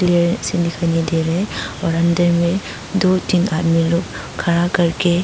वे दिखाई नही दे रहे और अन्दर में दो तीन आदमी लोग खड़ा करके--